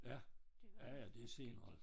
Ja ja ja det senere